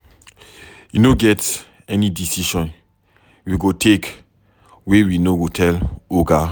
E no get any decision we go take wey we no go tell oga.